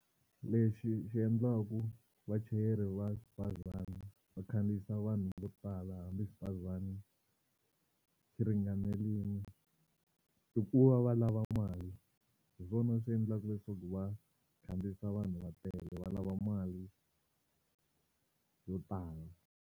Lexi xi endlaku vachayeri va xibazana va khandziyisa vanhu vo tala hambi xibazana xi ringanerile i ku va va lava mali hi swona swi endlaka leswaku va khandziyisa vanhu va tele va lava mali yo tala.